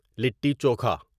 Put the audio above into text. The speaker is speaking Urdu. لٹی چوکھا